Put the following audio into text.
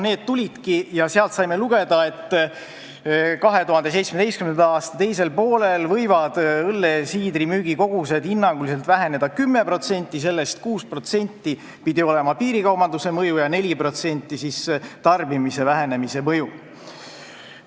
See tuligi ja sealt saime lugeda, et 2017. aasta teisel poolel võivad õlle ja siidri müügikogused hinnanguliselt väheneda 10%, sellest 6% pidi olema piirikaubanduse mõju ja 4% tarbimise vähenemise mõju.